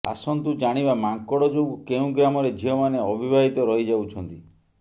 ଆସନ୍ତୁ ଜାଣିବା ମାଙ୍କଡ ଯୋଗୁ କେଉଁ ଗ୍ରାମରେ ଝିଅମାନେ ଅବିବାହିତ ରହିଯାଉଛନ୍ତି